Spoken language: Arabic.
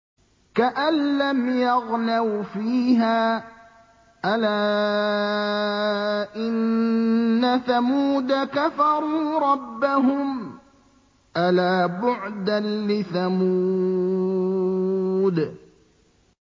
كَأَن لَّمْ يَغْنَوْا فِيهَا ۗ أَلَا إِنَّ ثَمُودَ كَفَرُوا رَبَّهُمْ ۗ أَلَا بُعْدًا لِّثَمُودَ